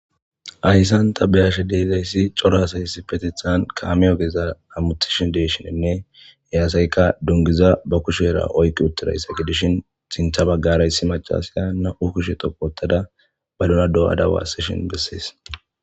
Hayisan ta be7ashe de7izayis cora assi issipetethan kame ogezan hamutishe de7ishine he asyika duniguza ba kushera oyiqid utirizayisa gidishin sintha bagara essi macasiya na7u kushe dhoqu othada wotada ba duna doyada wasishin beses.